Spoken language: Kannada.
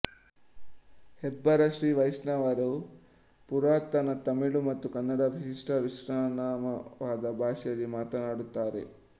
ಹೆಬ್ಬಾರ ಶ್ರೀವೈಷ್ಣವರು ಪುರಾತನ ತಮಿಳು ಮತ್ತು ಕನ್ನಡದ ವಿಶಿಷ್ಠ ಮಿಶ್ರಣವಾದ ಭಾಷೆಯಲ್ಲಿ ಮಾತನಾಡುತ್ತಾರೆ